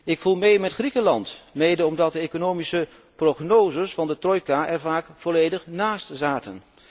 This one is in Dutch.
Ik voel mee met Griekenland, mede omdat de economische prognoses van de trojka er vaak volledig naast zaten.